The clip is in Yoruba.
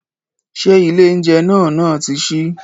Ṣé ilé oúnjẹ náà náà ti ṣí?